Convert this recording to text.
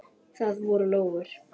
Það voru lóur.